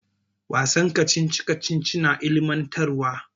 Wasan kacici kacici na ilimintarwa.